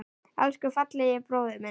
Elsku fallegi bróðir minn.